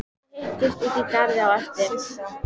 Þið hittist úti í garði á eftir.